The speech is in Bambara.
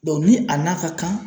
ni a n'a ka kan.